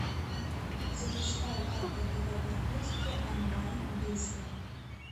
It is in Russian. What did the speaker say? запускай как продавать наркотики онлайн быстро